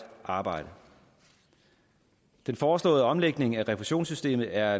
arbejde den foreslåede omlægning af refusionssystemet er